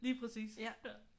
Lige præcis